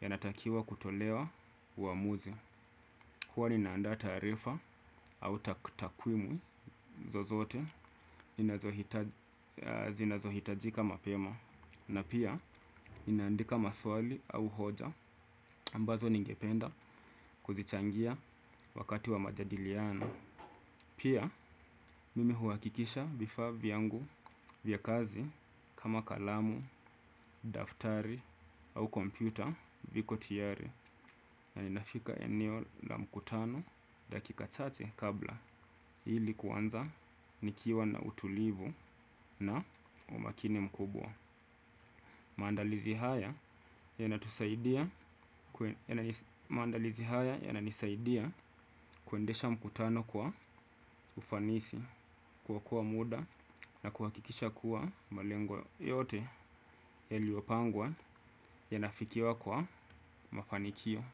yanatakiwa kutolewa uamuzi. Huwa ninaanda taarifa au takutakwimu zozote zinazohitajika mapema na pia ninaandika maswali au hoja ambazo ningependa kuzichangia wakati wa majadiliano. Pia mimi huhakikisha vifaa vyangu vya kazi kama kalamu, daftari au kompyuta viko tayari na ninafika eneo la mkutano dakika chache kabla ilikuanza nikiwa na utulivu na umakini mkubwa. Maandalizi haya yananisaidia kuendesha mkutano kwa ufanisi kuokoa muda na kuhakikisha kuwa malengwa yote yaliyopangwa yanafikiwa kwa mafanikio.